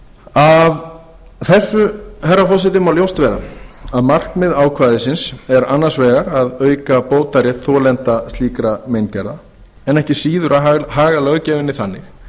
af þessu herra forseti má ljóst vera að markmið ákvæðisins er annars vegar að auka bótarétt þolenda slíkra meingerða en ekki síður að haga löggjöfinni þannig